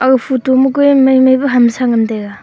aga photo ma kue maimai pa hamsa ngan taiga.